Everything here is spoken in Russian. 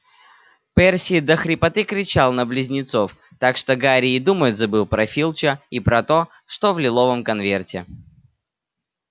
перси до хрипоты кричал на близнецов так что гарри и думать забыл про филча и про то что в лиловом конверте